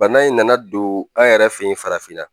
Bana in nana don an yɛrɛ fɛ yen farafinna